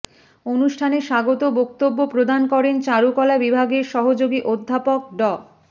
অনুষ্ঠানে স্বাগত বক্তব্য প্রদান করেন চারুকলা বিভাগের সহযোগী অধ্যাপক ড